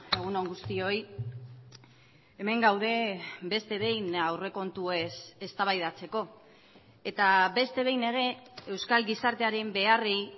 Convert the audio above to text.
egun on guztioi hemen gaude beste behin aurrekontuez eztabaidatzeko eta beste behin ere euskal gizartearen beharrei